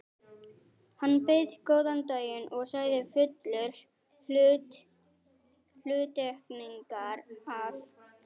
Hann bauð góðan daginn og sagði fullur hluttekningar, að